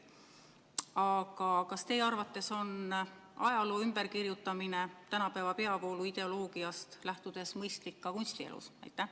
Aga kas teie arvates on ajaloo ümberkirjutamine tänapäeva peavooluideoloogiast lähtudes mõistlik ka kunstielus?